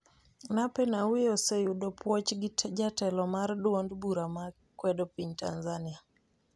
Nape Nnauye oseyudo puoch gi jatelo mar duond bura ma kwedo piny Tanzania